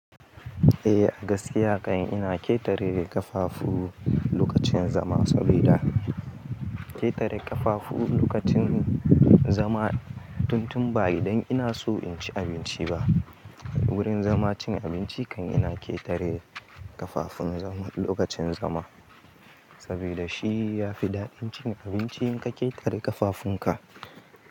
Eh a gaskiya kan ina ƙetare ƙafafu lokacin zama saboda ƙetare ƙafafu lokacin zama tun tun ba idan ina so in ci abinci ba. Gurin zama cin abinci kan ina ƙetare ƙafafun lokacin zama saboda shi ya fi daɗin cin abinci in ka ƙetare ƙafafun ka.